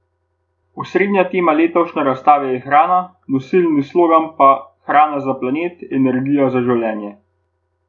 Osrednja tema letošnje razstave je hrana, nosilni slogan pa Hrana za planet, energija za življenje.